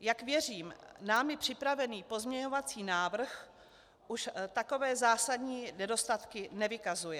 Jak věřím, námi připravený pozměňovací návrh už takové zásadní nedostatky nevykazuje.